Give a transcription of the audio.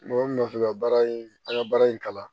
Mɔgɔ min fɛ ka baara in an ka baara in kalan